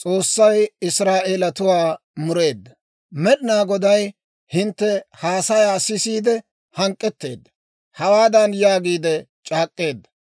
«Med'inaa Goday hintte haasayaa sisiide hank'k'etteedda; hawaadan yaagiide c'aak'k'eedda;